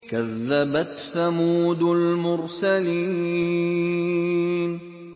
كَذَّبَتْ ثَمُودُ الْمُرْسَلِينَ